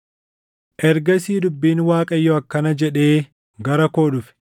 Ergasii dubbiin Waaqayyoo akkana jedhee gara koo dhufe: